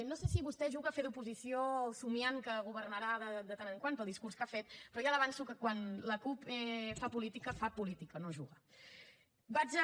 no sé si vostè juga a fer d’oposició somiant que governarà de tant en tant pel discurs que ha fet però ja li avanço que quan la cup fa política fa política no juga